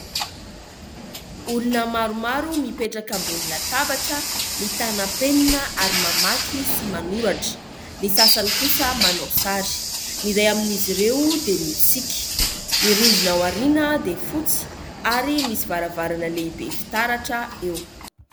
Olona maromaro mipetraka ambonin'ny latabatra mitana penina ary mamaky sy manoratra. Ny sasany kosa manao sary, ny iray amin'ny izy ireo dia mitsiky. Ny rindrina ao aoriana dia fotsy ary misy varavarana lehibe fitaratra eo.